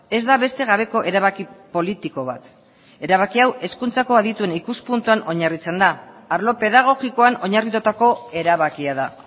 ez da beste gabeko erabaki politiko bat erabaki hau hezkuntzako adituen ikuspuntuan oinarritzen da arlo pedagogikoan oinarritutako erabakia da